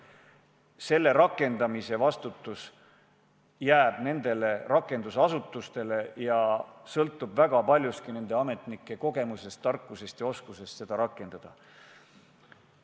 Praegusel juhul jääb rakendamise vastutus nendele rakendusasutustele ning sõltub paljuski sealsete ametnike kogemusest, tarkusest ja oskusest seda rakendada.